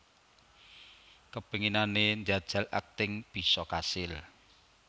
Kepinginane njajal akting bisa kasil